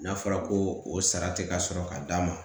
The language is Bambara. N'a fɔra ko o sara tɛ ka sɔrɔ ka d'a ma